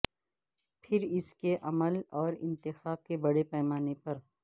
پھر اس کے عمل اور انتخاب کے بڑے پیمانے پر